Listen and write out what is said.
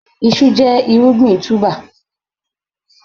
Iṣu jẹ́ irúgbìn túbà.